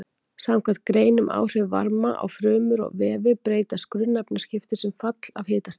Samkvæmt grein um áhrif varma á frumur og vefi breytast grunnefnaskipti sem fall af hitastigi.